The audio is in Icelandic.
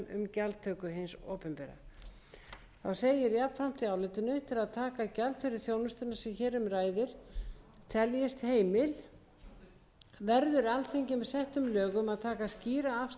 gjaldtöku hins opinbera þá segir jafnframt í álitinu til að taka gjald fyrir þá þjónustu sem hér um ræðir teljist heimil verður alþingi með settum lögum að taka skýra afstöðu til gjaldtöku fyrir gistingu á sjúkrahóteli